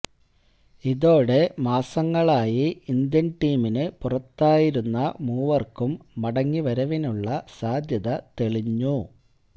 ഇതോടെ മാസങ്ങളായി ഇന്ത്യന് ടീമിനു പുറത്തായിരുന്ന മൂവര്ക്കും മടങ്ങിവരവിനുള്ള സാധ്യത തെളിഞ്ഞു